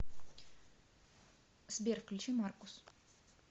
сбер включи маркус